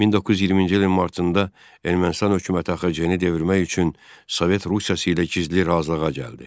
1920-ci ilin martında Ermənistan hökuməti AXC-ni devirmək üçün Sovet Rusiyası ilə gizli razılığa gəldi.